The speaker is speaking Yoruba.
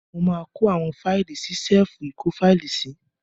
Mo máa kó àwọn fáílì sí ṣẹ́èfù ìkófáílì sí.